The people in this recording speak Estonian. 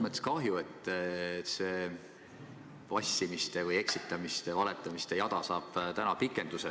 Mul on kahju, et see vassimiste, eksitamiste ja valetamiste jada saab täna pikenduse.